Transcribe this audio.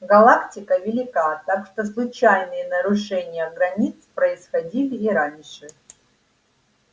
галактика велика так что случайные нарушения границ происходили и раньше